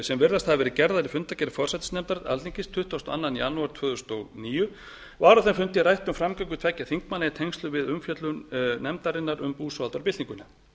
sem virðast hafa verið gerðar í fundargerð forsætisnefndar alþingis tuttugasta og annan janúar tvö þúsund og níu var á þeim fundi rætt um framgöngu tveggja þingmanna í tengslum við umfjöllun nefndarinnar um búsáhaldabyltinguna